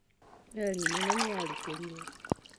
Meli nene nĩ yarikĩrire.